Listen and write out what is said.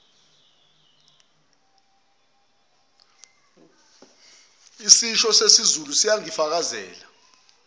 isisho sesizulu siyangifakazela